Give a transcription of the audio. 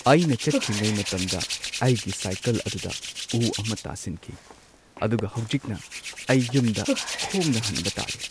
ꯑꯩꯅ ꯆꯠꯈ꯭ꯔꯤꯉꯩ ꯃꯇꯝꯗ ꯑꯩꯒꯤ ꯁꯥꯏꯀꯜ ꯑꯗꯨꯗ ꯎ ꯑꯃ ꯇꯥꯁꯤꯟꯈꯤ, ꯑꯗꯨꯒ ꯍꯧꯖꯤꯛꯅ ꯑꯩ ꯌꯨꯝꯗ ꯈꯣꯡꯅ ꯍꯟꯕ ꯇꯥꯔꯦ꯫